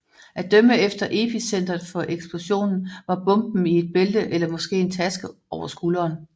At dømme efter epicentret for eksplosionen var bomben i et bælte eller måske en taske over skulderen